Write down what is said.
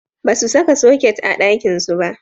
Basu saka soket a ɗakinsu ba.